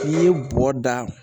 N'i ye bɔgɔ da